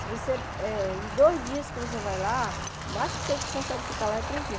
Se você, em dois dias que você vai lá, o máximo que você consegue ficar lá é três dias.